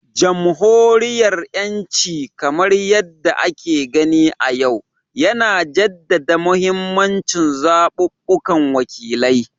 Jamhuriyariyanci, kamar yadda ake gani a yau, yana jaddada mahimmancin zaɓaɓɓun wakilai